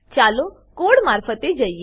ચાલો કોડ મારફતે જઈએ